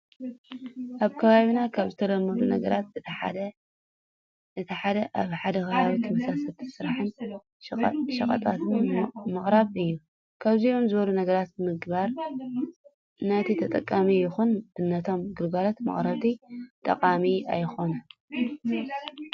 ኣብ ከባቢና ካብ ዝተለመዱ ነገራት እቲ ሓደ ኣብ ሓደ ከባቢ ተመሳሰልቲ ስራሕትን ሸቀጣትን ምቅራብ እዩ። ከምዚኦም ዝበሉ ነገራት ምግባር ነቲ ተጠቀሚ ይኹን ነቶም ግልጋሎት መቅረብቲ ጠቃሚ ኣይኾነን።